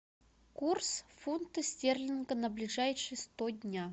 курс фунта стерлинга на ближайшие сто дня